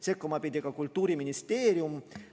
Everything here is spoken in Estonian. Sekkuma pidi ka Kultuuriministeerium.